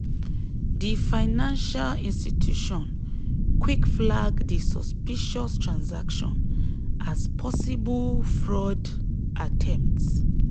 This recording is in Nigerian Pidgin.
di financial institution quick flag di suspicious transaction as possible fraud attempt.